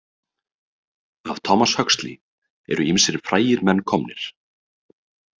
Af Thomas Huxley eru ýmsir frægir menn komnir.